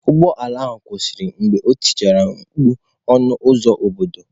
Ụgbọ ala ahụ kwụsịrị mgbe o tichara mkpu "" ọnụ ụzọ obodo "."